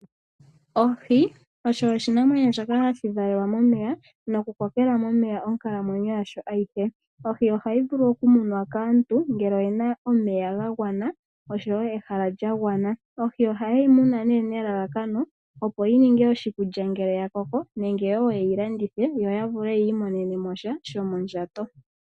Ohi osho oshinamwenyo shoka hashi valelwa momeya nokukokela momeya onkalamwenyo yasho ayihe. Ohi ohayi vulu okumunwa kaantu ngele oye na omeya ga gwana, oshowo ehala lya gwana. Ohi ohaye yi muna nelalakano, opo yi ninge oshikulya ngele ya koko nenge wo ye yi landithe yo ya vule yi imonene sha shomondjato.